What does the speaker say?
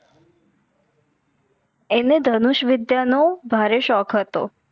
એને ધનુષ વિદ્યાનો ભારે શોખ હતો